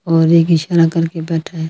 और एक इशारा करके बैठा--